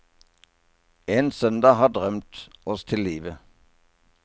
En søndag har drømt oss til livet.